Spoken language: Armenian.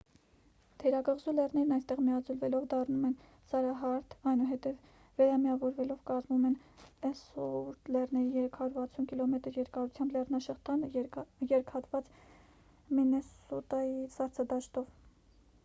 թերակղզու լեռներն այստեղ միաձուլվ դառնում են սարահարթ այնուհետև վերամիավորվելով կազմում են էլսուորթ լեռների 360 կմ երկարությամբ լեռնաշղթան երկհատված մինեսոտայի սառցադաշտով